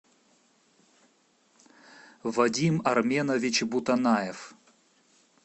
вадим арменович бутанаев